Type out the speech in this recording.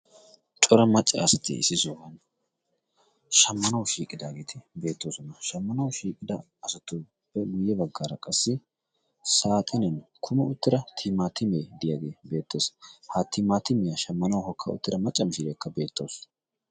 cora macca asatti issi shooqan shammanawu shiiqidaageeti beettoosona shammanawu shiiqida asatuppe guyye baggaara qassi saatenen kume uttira tiimaatimee diyaagee beettoos ha timaatiimiyaa shammanawu hokka uttira macca mishiiriyeekka beettaawusu